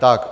Tak.